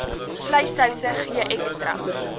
vleissouse gee ekstra